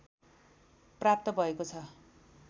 प्राप्त भएको ६